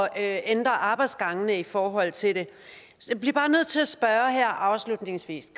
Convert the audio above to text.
at ændre arbejdsgange i forhold til det jeg bliver bare nødt til at spørge her afslutningsvis